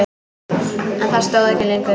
En það stóð ekki lengi.